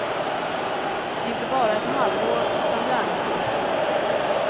Inte bara ett halvår utan gärna för gott.